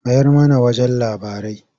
Mayar mana wajen labarai.